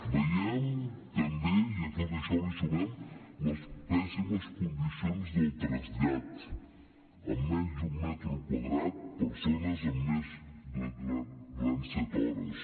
veiem també i a tot això hi sumem les pèssimes condicions del trasllat en menys d’un metre quadrat persones durant set hores